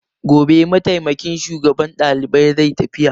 Gobe mataimakin shugaban dalibai zai tafiya.